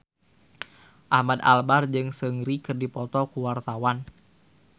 Ahmad Albar jeung Seungri keur dipoto ku wartawan